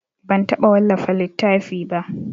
Ban taɓa wallafa littafi ba.